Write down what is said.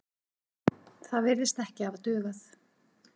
Það virðist ekki hafa dugað.